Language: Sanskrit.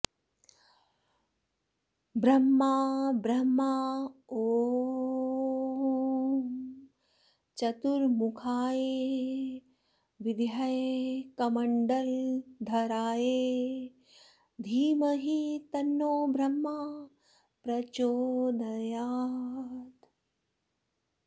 ब्रह्मा ब्रह्मा ॐ चतुर्मुखाय विद्महे कमण्डलुधराय धीमहि तन्नो ब्रह्मा प्रचोदयात्